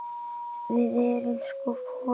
Við erum sko folar.